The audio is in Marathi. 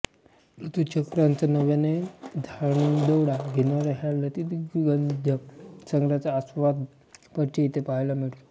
ऋतुचक्राचा नव्याने धांडोळा घेणाऱ्या ह्या ललितगद्य संग्रहाचा आस्वादक परिचय इथे पाहायला मिळतो